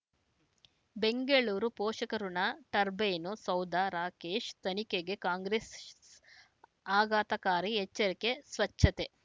ಬೆಂಗಳೂರು ಪೋಷಕಋಣ ಟರ್ಬೈನು ಸೌಧ ರಾಕೇಶ್ ತನಿಖೆಗೆ ಕಾಂಗ್ರೆಸ್ ಆಘಾತಕಾರಿ ಎಚ್ಚರಿಕೆ ಸ್ವಚ್ಛತೆ